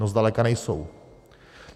No zdaleka nejsou.